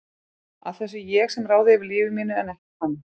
Að það sé ég sem ráði yfir lífi mínu en ekki hann.